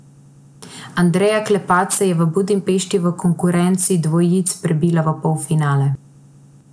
Andreja Klepač se je v Budimpešti v konkurenci dvojic prebila v polfinale.